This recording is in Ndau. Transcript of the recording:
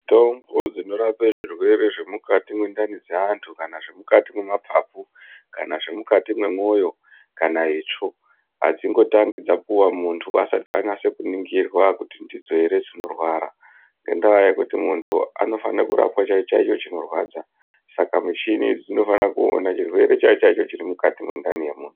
Mitombo dzino rape zvirwere zve mukati mwe ndani dze antu kana zve mukati me mapapu kana zve mukati mwe moyo kana itsvo adzingo tangi dzapuwa muntu asati anyase ku ningirwa kuti ndidzo ere dzino rwara ngenda yekuti muntu ano fane kurapwa chaicho chaicho chino rwadza saka muchini idzi dzino fana kuona chirwere chaicho chaicho chiri mukati mwe ndani ye munhu.